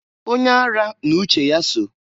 Onye ara n'uche ya so.